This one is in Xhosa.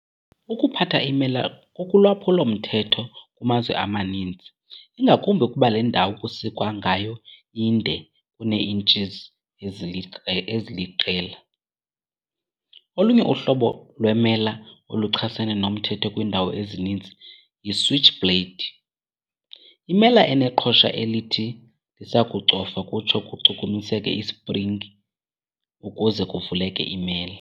Ukuphatha iimela kukulwaphulo-mthetho kumazwe amaninzi, ingakumbi ukuba le ndawo kusikwa ngayo inde kunee-inches eziliqela. Olunye uhlobo lwemela oluchasene nomthetho kwiindawo ezininzi y"i-switchblade", imela eneqhosha elithi lisakucofwa kutsho kuchukumiseke i-springi ukuze kuvuleke imela.